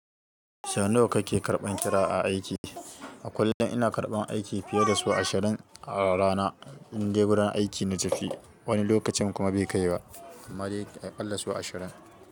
Sau nawa kake karɓan kira a aiki? A kullum ina karɓan aiki fiye da su ashirin a rana. In dai gurin aiki na tafi, wani lokacin kuma bai kai ba. Amma dai a ƙalla so ashirin.